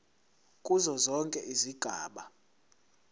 kuzo zonke izigaba